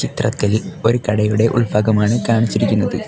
ചിത്രത്തിൽ ഒരു കടയുടെ ഉൾഭാഗം ആണ് കാണിച്ചിരിക്കുന്നത്.